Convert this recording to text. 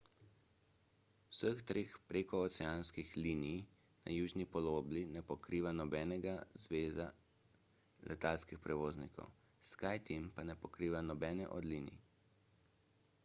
vseh treh prekooceanskih linij na južni polobli ne pokriva nobena zveza letalskih prevoznikov skyteam pa ne pokriva nobene od linij